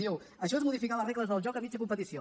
diu això és modificar les regles del joc a mitja competició